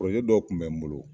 dɔ kun bɛ n bolo